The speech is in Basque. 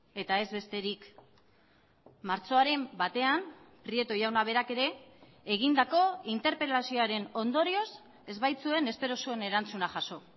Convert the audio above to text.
eta ez besterik martxoaren batean prieto jauna berak ere egindako interpelazioaren ondorioz ez baitzuen espero zuen erantzuna jaso